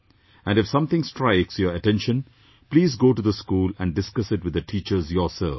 And if something strikes your attention, please go to the school and discuss it with the teachers yourself